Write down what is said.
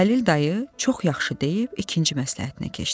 Xəlil dayı çox yaxşı deyib ikinci məsləhətinə keçdi.